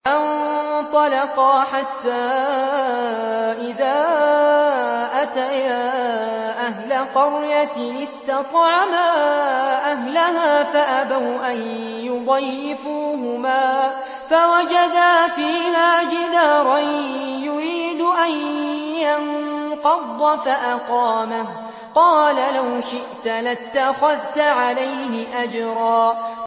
فَانطَلَقَا حَتَّىٰ إِذَا أَتَيَا أَهْلَ قَرْيَةٍ اسْتَطْعَمَا أَهْلَهَا فَأَبَوْا أَن يُضَيِّفُوهُمَا فَوَجَدَا فِيهَا جِدَارًا يُرِيدُ أَن يَنقَضَّ فَأَقَامَهُ ۖ قَالَ لَوْ شِئْتَ لَاتَّخَذْتَ عَلَيْهِ أَجْرًا